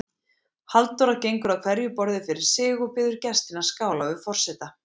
Halldóra gengur að hverju borði fyrir sig og biður gestina að skála við forseta.